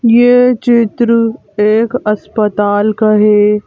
ये चित्र एक अस्पताल का है।